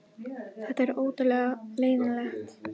Þetta er óttalega leiðinlegt